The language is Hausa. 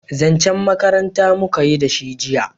zancen makaranta muka yi da shi jiya